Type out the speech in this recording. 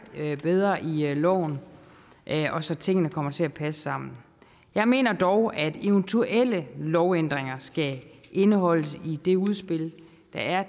bedre i loven og så tingene kommer til at passe sammen jeg mener dog at eventuelle lovændringer skal indeholdes i det udspil der er